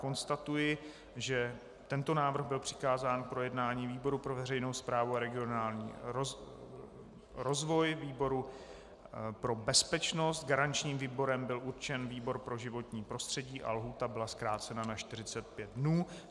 Konstatuji, že tento návrh byl přikázán k projednání výboru pro veřejnou správu a regionální rozvoj, výboru pro bezpečnost, garančním výborem byl určen výbor pro životní prostředí a lhůta byla zkrácena na 45 dnů.